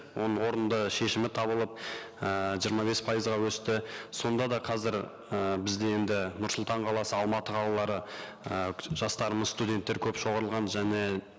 оның орынды шешімі табылып ііі жиырма бес пайызға өсті сонда да қазір і бізде енді нұр сұлтан қаласы алматы қалалары і жастарымыз студенттер көп және